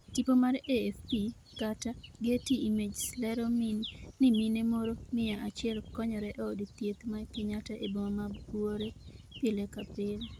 tipo mar AFP/getty images lero ni mine moro miya achiel konyore e od thieth ma Kenyatta e boma ma Buore pile ka pile